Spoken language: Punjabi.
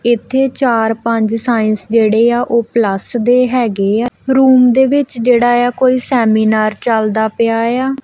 ਇੱਥੇ ਚਾਰ ਪੰਜ ਸਾਇੰਸ ਜਿਹੜੇ ਆ ਉਹ ਪਲੱਸ ਦੇ ਹੈਗੇ ਆ ਰੂਮ ਦੇ ਵਿੱਚ ਜਿਹੜਾ ਆ ਕੋਈ ਸੈਮੀਨਾਰ ਚੱਲਦਾ ਪਿਆ ਆ।